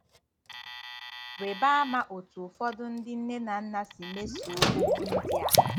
Riba ama otú ụfọdụ ndị nne na nna si mesoo okwu ndị a.